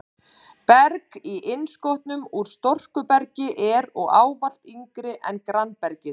Berg í innskotum úr storkubergi er og ávallt yngra en grannbergið.